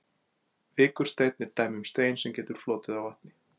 Vikursteinn er dæmi um stein sem getur flotið á vatni.